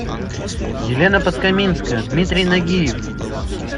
елена подкаминская дмитрий нагиев